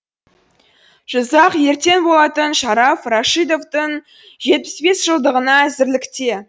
жызақ ертең болатын шараф рашидовтың жетпіс бес жылдығына әзірлікте